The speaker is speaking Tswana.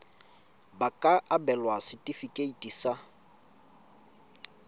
ba ka abelwa setefikeiti sa